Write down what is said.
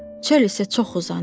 Çöl isə çox uzanır.